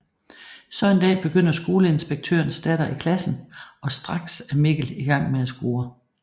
Så en dag begynder skoleinspektørens datter i klassen og straks er Mikkel i gang med at score